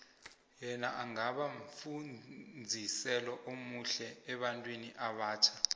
yena angaba mfuziselo omuhle ebantwini abatjha